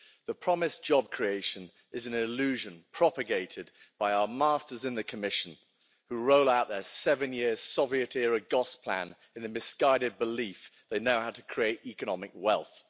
The promised job creation is an illusion propagated by our masters in the Commission who roll out their seven year Soviet-era Gosplan in the misguided belief they know how to create economic wealth.